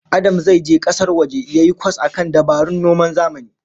Adam zai je kasar waje yayi kwas akan dabarun noman zamani